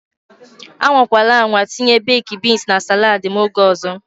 Anwakwala anwa etinye beeki bins na salaad m oge ọzọ.